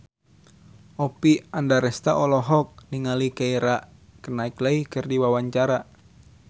Oppie Andaresta olohok ningali Keira Knightley keur diwawancara